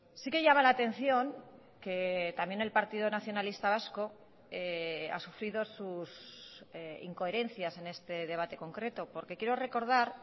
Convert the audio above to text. sí que llama la atención que también el partido nacionalista vasco ha sufrido sus incoherencias en este debate concreto porque quiero recordar